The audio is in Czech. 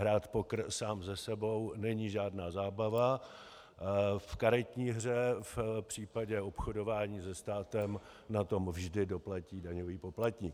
Hrát poker sám se sebou není žádná zábava v karetní hře, v případě obchodování se státem na to vždy doplatí daňový poplatník.